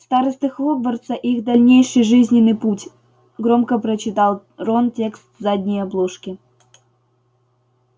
старосты хогвартса и их дальнейший жизненный путь громко прочитал рон текст с задней обложки